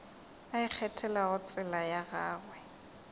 a ikgethelago tsela ya gagwe